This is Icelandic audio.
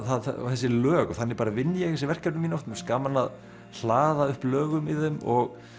þessi lög þannig bara vinn ég þessi verkefni mín oft mér gaman að hlaða upp lögum í þeim og